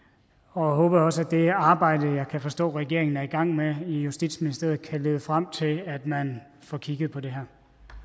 og håber også at det arbejde jeg kan forstå regeringen er i gang med i justitsministeriet kan lede frem til at man får kigget på det